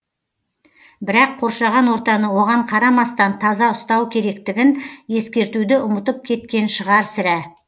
бірақ қоршаған ортаны оған қарамастан таза ұстау керектігін ескертуді ұмытып кеткен шығар сірә